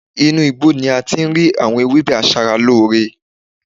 Inú igbó ni ati ń rí àwọn ewébè asara ló ọrẹ